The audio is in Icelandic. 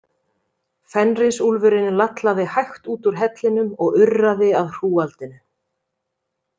Fenrisúlfurinn lallaði hægt út úr hellinum og urraði að hrúgaldinu.